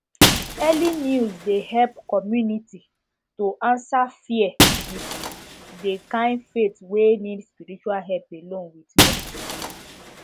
early news de help community to answer fear with dey kind faith wey need spirtual help alone with medicine